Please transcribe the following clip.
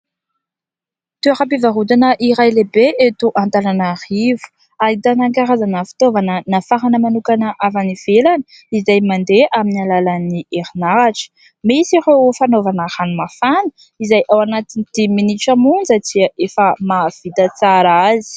Toeram-pivarotana iray lehibe eto Antananarivo. Ahitana karazana fitaovana nafarana manokana avy any ivelany izay mandeha amin'ny alalan'ny herinaratra. Misy ireo fanaovana ranomafana izay ao anatin'ny dimy minitra monja dia efa mahavita tsara azy.